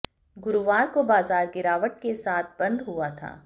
गुरुवार को बाजार गिरावट के साथ बंद हुआ था